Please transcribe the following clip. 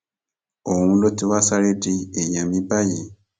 òun ló ti wáá sáré di èèyàn mi báyìí